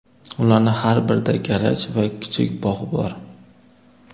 Ularning har birida garaj va kichik bog‘ bor.